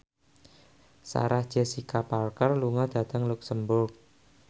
Sarah Jessica Parker lunga dhateng luxemburg